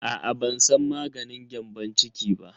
Aa ban san maganin gyambon ciki ba.